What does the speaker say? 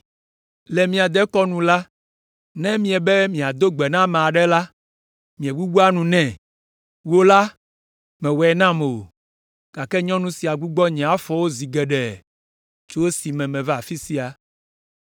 Le mía dekɔnu nu la, ne míebe míado gbe na ame aɖe la, míegbugbɔa nu nɛ. Wò la, mèwɔe nam o, gake nyɔnu sia gbugbɔ nye afɔwo zi geɖe tso esi meva afi sia.